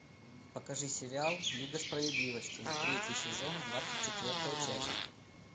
покажи сериал лига справедливости третий сезон двадцать четвертая часть